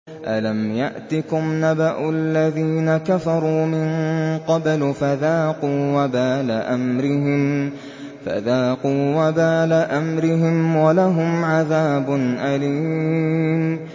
أَلَمْ يَأْتِكُمْ نَبَأُ الَّذِينَ كَفَرُوا مِن قَبْلُ فَذَاقُوا وَبَالَ أَمْرِهِمْ وَلَهُمْ عَذَابٌ أَلِيمٌ